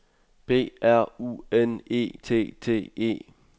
B R U N E T T E